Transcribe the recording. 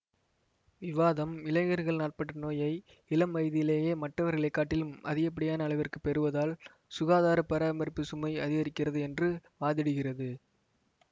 விவாதம் இளைஞர்கள் நாட்பட்ட நோயை இளம் வயதிலேயே மற்றவர்களை காட்டிலும் அதிகப்படியான அளவிற்கு பெறுவதால் சுகாதார பராமரிப்பு சுமை அதிகரிக்கிறது என்று வாதிடுகிறது